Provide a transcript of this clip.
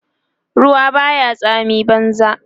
ruwa Baya tsami banza